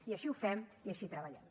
i així ho fem i així treballem